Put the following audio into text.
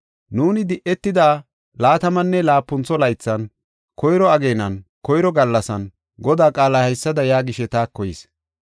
Nuuni di7etida laatamanne laapuntho laythan, koyro ageenan, koyro gallasan, Godaa qaalay haysada yaagishe taako yis.